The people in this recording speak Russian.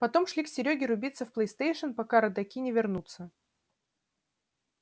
потом шли к серёге рубиться в плейстейшн пока родаки не вернутся